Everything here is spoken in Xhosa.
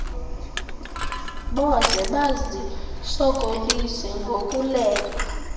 boze bazisokolise ngokuleqa